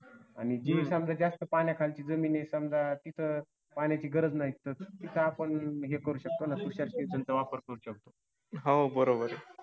आणि जे समजा जास्त पाण्याखालची जमीन आहे समजा तिथं पाण्याची गरज नाही. तिथं आपण हे करू शकतो ना. तुषार सिंचनचा वापर करू शकतो.